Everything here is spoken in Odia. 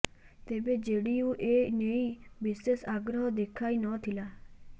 ତେବେ ଜେଡିୟୁ ଏ ନେଇ ବିଶେଷ ଆଗ୍ରହ ଦେଖାଇ ନ ଥିଲା